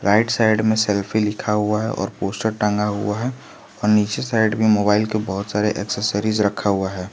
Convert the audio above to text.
Right side में selfie लिखा हुआ है और पोस्टर टांगा हुआ है और नीचे साइड में मोबाइल के बहुत सारे एसेसरीज रखा हुआ है।